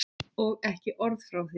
Og ekki orð frá þér!